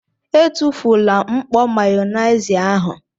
Etufula mkpọ Mayonaise ahụ!!!!